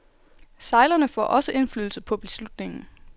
Sejlerne får også indflydelse på beslutningen.